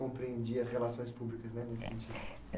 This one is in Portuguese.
compreendia relações públicas, né, nesse sentido?